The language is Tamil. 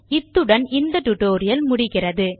இத்துடன் இந்த டியூட்டோரியல் முடிகிறது